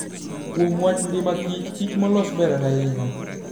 Kuom wach ngima kich, kich molos ber ahinya.